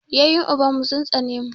Yaƴen uban mu sun tsane mu.